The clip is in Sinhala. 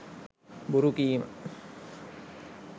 බොරු කීම,